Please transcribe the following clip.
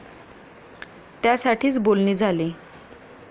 त्यासाठीच बोलणी झाली.